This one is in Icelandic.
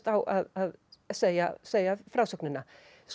á að segja að segja frásögnina